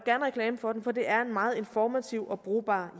reklame for den for det er en meget informativ og brugbar